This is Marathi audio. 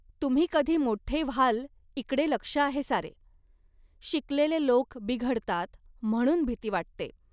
तुम्ही कधी मोठे व्हालइकडे लक्ष आहे सारे. शिकलेले लोक बिघडतात, म्हणून भीती वाटते